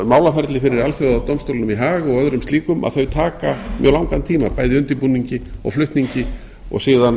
málaferli fyrir alþjóðadómstólnum í haag að þau taka mjög langan tíma bæði í undirbúningi og flutningi og síðan